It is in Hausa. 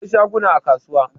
Akwai shaguna a kasuwa